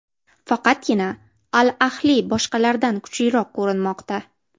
Faqatgina ‘Al-Ahli’ boshqalardan kuchliroq ko‘rinmoqda.